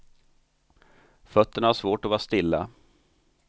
Fötterna har svårt att vara stilla.